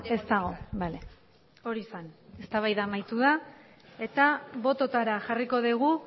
ez dago bale hori zen eztabaida amaitu da eta bototara jarriko dugu